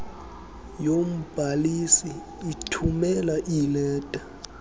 yombhalisi ithumela iileta